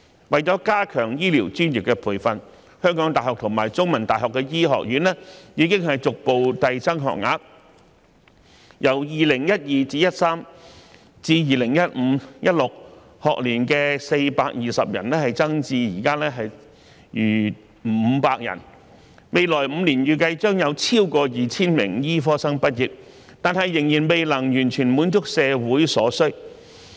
為了加強醫療專業培訓，香港大學和香港中文大學的醫學院已逐步遞增學額，由 2012-2013 學年至 2015-2016 學年的420人增至現時逾500人，未來5年預計將有超過 2,000 名醫科生畢業，但仍未能完全滿足社會所需。